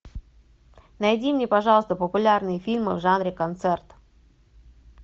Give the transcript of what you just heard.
найди мне пожалуйста популярные фильмы в жанре концерт